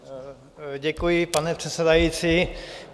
Děkuji, pane předsedající.